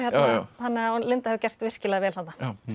þannig að hún Linda hefur gert virkilega vel þarna